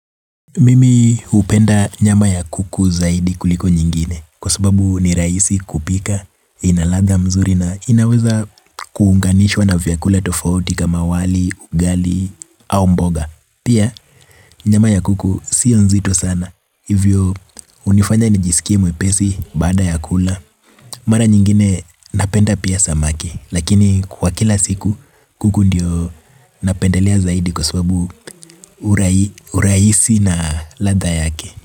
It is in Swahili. Mimi hupenda nyama ya kuku zaidi kuliko nyingine Kwa sababu ni rahisi kupika, ina ladha mzuri na inaweza kuunganishwa na vyakula tofauti kama wali, ugali au mboga Pia nyama ya kuku sio nzito sana Hivyo hunifanya nijisikie mwepesi baada ya kula Mara nyingine napenda pia samaki Lakini kwa kila siku kuku ndio napendelea zaidi kwa sababu urahisi na ladha yake.